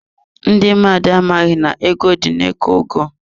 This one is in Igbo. Ndị mmadụ amaghị na ego dị na iko ugu.